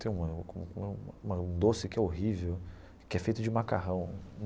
Tem uma um doce que é horrível, que é feito de macarrão.